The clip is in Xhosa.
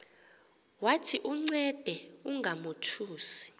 wathi uncede ungamothusi